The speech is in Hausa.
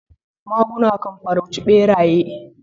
Maguna kan farauci beraye.